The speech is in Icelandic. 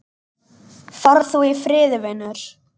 Far þú í friði, vinur.